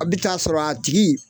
A bɛ taa sɔrɔ a tigi